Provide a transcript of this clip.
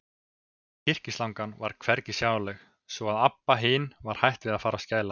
Kyrkislangan var hvergi sjáanleg, svo að Abba hin var hætt við að fara að skæla.